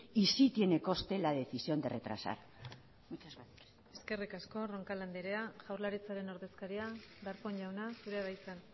y sí tiene coste la decisión de retrasar muchas gracias eskerrik asko roncal andrea jaurlaritzaren ordezkaria darpón jauna zurea da hitza